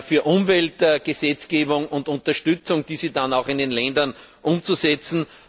für Umweltgesetzgebung und für Unterstützung, diese dann auch in den Ländern umzusetzen.